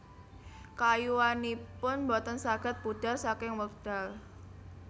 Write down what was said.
Keayuanipun boten saged pudar saking wekdal